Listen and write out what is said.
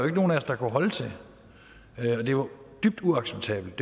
ikke nogen af os der kunne holde til det var dybt uacceptabelt